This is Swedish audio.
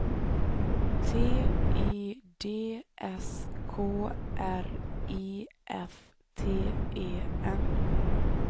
T I D S K R I F T E N